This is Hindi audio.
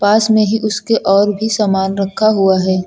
पास में ही उसके और भी सामान रखा हुआ है।